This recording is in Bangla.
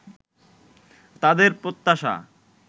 তাদের প্রত্যাশা